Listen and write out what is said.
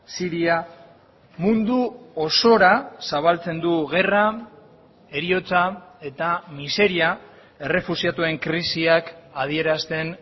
siria mundu osora zabaltzen du gerra heriotza eta miseria errefuxiatuen krisiak adierazten